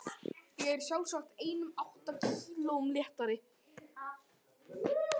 Ég er sjálfsagt einum átta kílóum léttari.